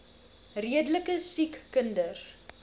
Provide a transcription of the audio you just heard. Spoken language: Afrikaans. redelike siek kinders